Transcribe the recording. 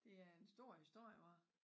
Det er en stor historie hva?